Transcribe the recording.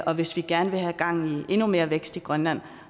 og hvis vi gerne vil have gang i endnu mere vækst i grønland